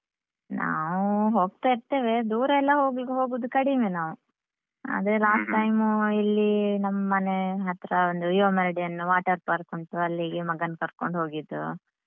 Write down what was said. ನಾವು ಹೋಗ್ತಾ ಇರ್ತೇವೆ, ದೂರ ಎಲ್ಲ ಹೋಗುದು ಹೋಗುದು ಕಡಿಮೆ ನಾವು ಅದೆ last time ಇಲ್ಲಿ ನಮ್ಮ್ ಮನೆ ಹತ್ರ ಒಂದು EMRD ಅನ್ನುವ water park ಉಂಟು ಅಲ್ಲಿಗೆ ಮಗನ್ ಕರ್ಕೊಂಡು ಹೋಗಿದ್ದು.